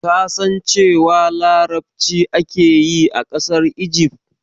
Ka san cewa larabci ake yi a ƙasar Igif?